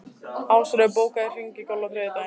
Ásröður, bókaðu hring í golf á þriðjudaginn.